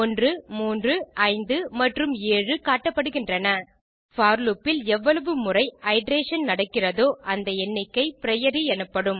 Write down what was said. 1 3 5 மற்றும் 7 காட்டப்படுகின்றன for loop இல் எவ்வளவு முறை iterationகள் நடக்கிறதோ அந்த எண்ணிக்கை பிரியோரி எனப்படும்